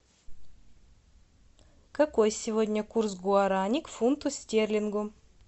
какой сегодня курс гуарани к фунту стерлингу